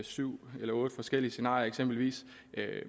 syv eller otte forskellige scenarier